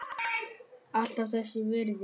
Alltaf þess virði.